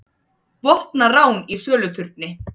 Vopnað rán í söluturni